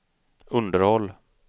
underhåll